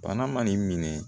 Bana ma n'i minɛ